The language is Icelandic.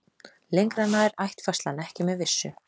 Lengra nær ættfærslan ekki með vissu.